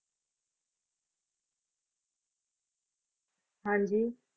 ਹਾਂਜੀ।